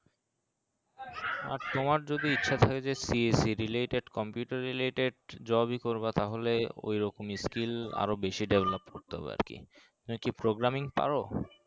আর তোমার যদি ইচ্ছা থাকে যে CSEreleted computer related job ই করবা তাহলে ওই রকমই skill আরো বেশি develop করতে হবে আর কি তুমি কি programming পারো